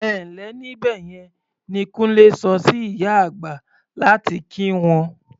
"Ẹ ǹ lẹ́ níbẹ̀ yẹn" ni Kúnlé sọ sí ìyá àgbà láti kí wọn.